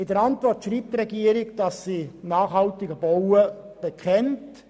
In ihrer Antwort schreibt die Regierung, dass sie sich zum nachhaltigen Bauen bekennt.